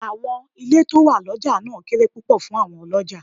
Àwọn ilé tó wà lọjà náà kéré púpọ̀ fún àwọn Ọlọ́jàá.